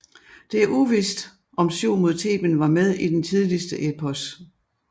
Det er uvist om syv mod Theben var med i den tidligste eposset